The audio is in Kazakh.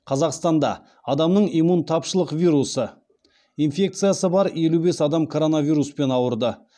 қазақстанда адамның иммунтапшылық вирусы инфекциясы бар елу бес адам коронавируспен ауырды